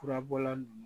Furabɔla ninnu